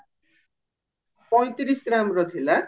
ପଇଁତିରିଶ ଗ୍ରାମ ର ଥିଲା